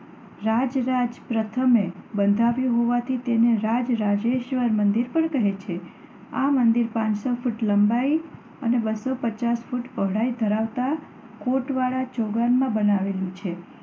રાજરાજ પ્રથમે બંધાવ્યું હોવાથી તેને રાજ રાજેશ્વર મંદિર પણ કહે છે. આ મંદિર પાંચસો ફૂટ લંબાઈ અને બસો પચાસ ફૂટ પહોળાઈ ધરાવતા કોટવાળા ચોગાનમાં બનાવેલું છે.